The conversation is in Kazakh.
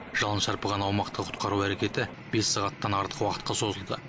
жалын шарпыған аумақты құтқару әрекеті бес сағаттан артық уақытқа созылды